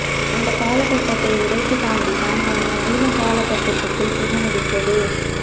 அந்த காலகட்டத்தை உடைந்த்து தாண்டித்தான் நாம் நவீன காலகட்டத்துக்குள் புக முடிந்தது